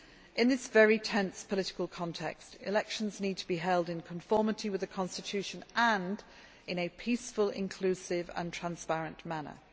In this very tense political context, elections need to be held in conformity with the constitution and in a peaceful, inclusive and transparent manner.